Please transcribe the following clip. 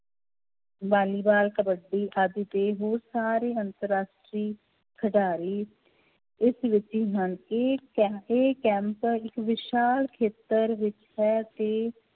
ਵਾਲੀਵਾਲ, ਕਬੱਡੀ ਆਦਿ ਤੇ ਹੋਰ ਸਾਰੇ ਅੰਤਰ ਰਾਸ਼ਟਰੀ ਖਿਡਾਰੀ ਇਸ ਵਿੱਚ ਹੀ ਹਨ, ਇਹ ਕੈ~ ਇਹ ਕੈਂਪ ਇੱਕ ਵਿਸ਼ਾਲ ਖੇਤਰ ਵਿੱਚ ਹੈ ਤੇ